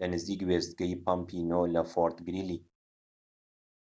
لە نزیک وێستگەی پەمپی ٩ لە فۆرت گریلی